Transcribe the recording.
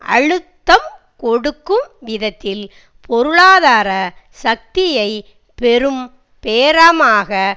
அழுத்தம் கொடுக்கும் விதத்தில் பொருளாதார சக்தியை பெரும் பேரமாக